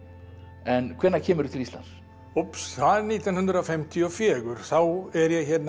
en hvenær kemurðu til Íslands úps það er nítján hundruð fimmtíu og fjögur þá er ég hérna